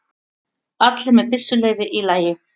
Allir með byssuleyfi í lagi